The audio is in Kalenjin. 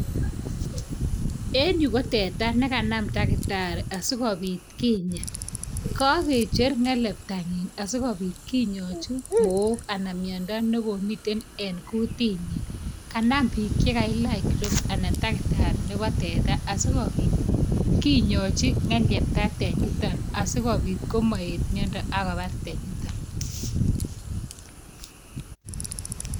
en yu ko teta nekanam daktari asikobit kinya. kakecher ng'eliepta nyi asikobit kinyaachi mook anan mnyondo nekomite en kutitnyi. kanam biik chekailach gloves ana daktari nebo teta asikobit kinyaachi ng'eliepta tanyitok asikobit komaet mnyondo akobar tanyitok